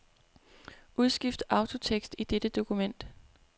Udskift autotekst i dette dokument.